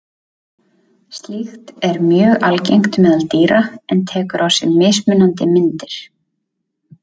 Slíkt er mjög algengt meðal dýra en tekur á sig mismunandi myndir.